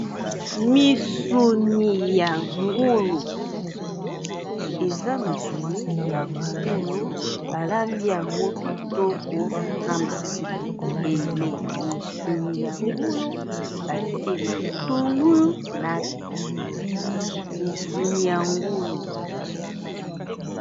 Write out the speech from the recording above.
sueza misuni ya ngulu balambi yango kitoko na mafuta ebele misuni ya ngulu batie matungulu na pilipili misuni ya ngulu